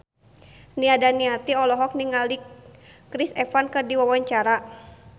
Nia Daniati olohok ningali Chris Evans keur diwawancara